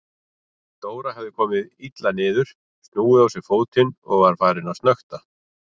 Dóra hafði komið illa niður, snúið á sér fótinn og var farin að snökta.